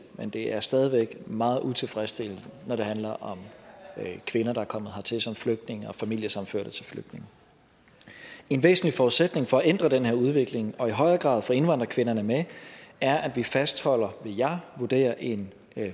men det er stadig væk meget utilfredsstillende når det handler om kvinder der er kommet hertil som flygtninge og som familiesammenførte til flygtninge en væsentlig forudsætning for at ændre den her udvikling og i højere grad få indvandrerkvinderne med er at vi fastholder vil jeg vurdere en